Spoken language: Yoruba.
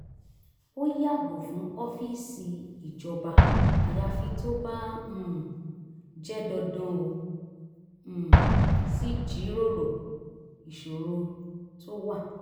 ó yàgò fún ọ́fíìsì ìjọba ayafi tó bá um jẹ́ dandan ó um sì jíròrò ìṣòro tó wà